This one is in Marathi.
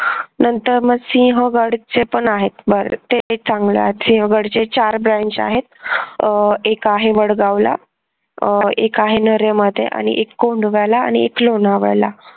नंतर मग सिंहगडचे पण आहेत ते सिंहगडचे चार branch आहेत. अह एक आहे वडगावला अह एक आहे नेरळ मध्ये एक कोंड दुभ्याला आणि एक लोणावळ्याला